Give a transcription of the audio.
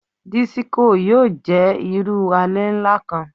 Disiko yoo jẹ iru alẹ nla kan